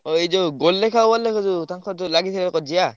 ହଁ ଏଯୋଉ ଗୋଲେଖ ଆଉ ଅଲେଖ ଯୋଉ ତାଙ୍କର ଯୋଉ ଲାଗିଥିଲା କଜିଆ?